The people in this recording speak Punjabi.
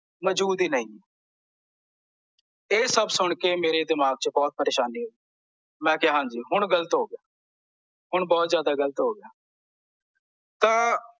ਮਜੂਦ ਹੀ ਨਹੀਂ ਹੈ ਇਹ ਸਭ ਸੁਣਕੇ ਮੇਰੇ ਦਿਮਾਗ ਵਿੱਚ ਬਹੁਤ ਪਰੇਸ਼ਾਨੀ ਹੋਈ ਮੈਂ ਕਿਹਾ ਹਾਂਜੀ ਹੁਣ ਗਲਤ ਹੋ ਗਿਆ ਹੁਣ ਬਹੁਤ ਜਿਆਦਾ ਗਲਤ ਹੋ ਗਿਆ ਤਾਂ